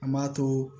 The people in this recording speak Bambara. An m'a to